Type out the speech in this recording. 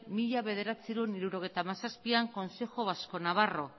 mila bederatziehun eta hirurogeita hamazazpian consejo vasco navarro